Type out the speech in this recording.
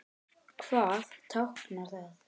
Hvað táknar það?